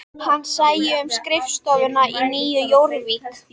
Hann sæi um skrifstofuna í Nýju Jórvík